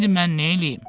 İndi mən neyləyim?